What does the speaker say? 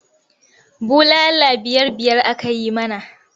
Bulala biyar-biyar aka yi mana.